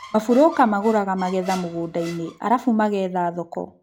Maburũka magũraga magetha mũgũnda-inĩ arabu mageetha thoko